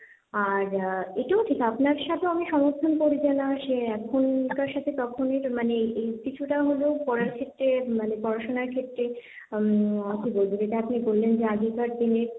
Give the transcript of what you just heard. আর এটাও ঠিক আপনার সাথেও আমি সমর্থন করি যে না সে, এখনকার সাথে তখনই তো মানে এই কিছুটা হলেও পড়ার ক্ষেত্রে মানে পড়াশোনার ক্ষেত্রে যেটা আপনি বললেন যে আগেকার দিনে,